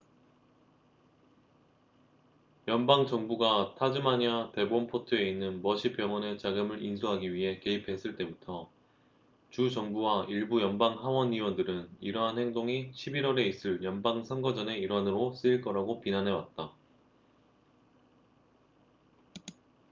연방정부가 타즈마니아 데본포트에 있는 머시 병원의 자금을 인수하기 위해 개입했을 때부터 주 정부와 일부 연방 하원 의원들은 이러한 행동이 11월에 있을 연방선거전의 일환으로 쓰일 거라고 비난해왔다